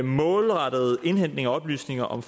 målrettede indhentning af oplysninger om